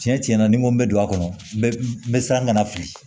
Tiɲɛ tiɲɛna ni n ko bɛ don a kɔnɔ bɛɛ bɛ siran ka na fili